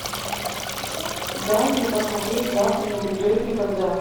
дай мне посмотреть завтра не придет никогда